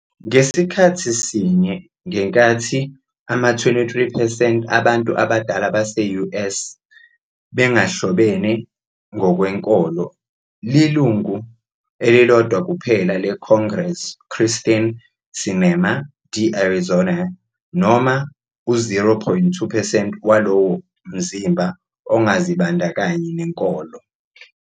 Ngasikhathi sinye, ngenkathi ama-23 percent abantu abadala base-U. S. Bengahlobene ngokwenkolo, lilungu elilodwa kuphela leCongress, Kyrsten Sinema, D-Arizona, noma u-0.2 percent walowo mzimba, ongazibandakanyi nenkolo.